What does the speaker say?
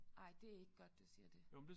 Ej det ikke godt du siger det